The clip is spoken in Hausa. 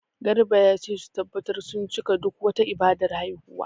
Garba ya ce su tabbatar sun cika duk wata ibadar haihuwa.